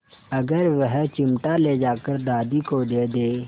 अगर वह चिमटा ले जाकर दादी को दे दे